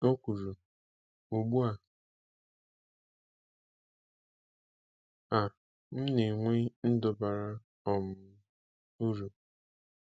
O kwuru: “Ugbu a, a, m na-enwe ndụ bara um uru.